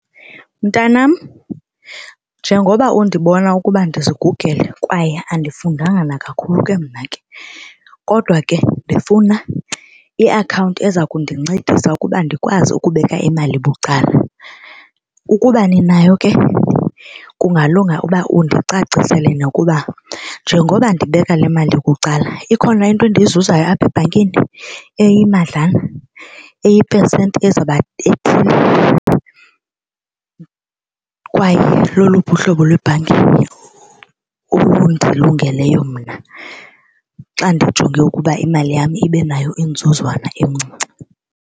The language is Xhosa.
Mntanam njengoba undibona ukuba ndizigugele kwaye andifundanga nakakhulu ke mna ke kodwa ke ndifuna iakhawunti eza kundincedisa ukuba ndikwazi ukubeka imali bucala. Ukuba ninayo ke kungalunga uba undicacisele nakuba njengoba ndibeka le mali kuqala ikhona into endiyizuzayo apha ebhankini eyimadlana eyipesenti ezawuba ethi kwaye loluphi uhlobo lwebhanki olundilungeleyo mna xa ndijonge ukuba imali yam ibe nayo inzuzwana encinci.